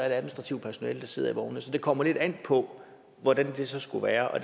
administrativt personale der sidder i vognene så det kommer lidt an på hvordan det så skulle være og